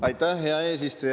Aitäh, hea eesistuja!